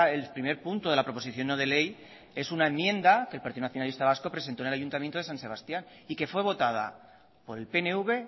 el primer punto de la proposición no de ley es una enmienda que el partido nacionalista vasco presentó en el ayuntamiento de san sebastián y que fue votada por el pnv